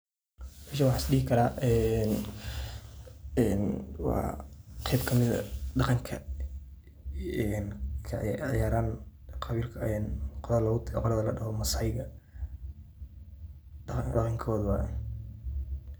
Meeshan waxaan isdhihi karaa een een waa qayb kamid dhaqanka een ey ciyaaran qolada ladhaho masaai-da, dhaqankooda waye.